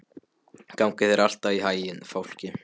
Gangi þér allt í haginn, Fálki.